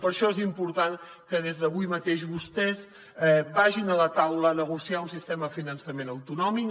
per això és important que des d’avui mateix vostès vagin a la taula a negociar un sistema de finançament autonòmic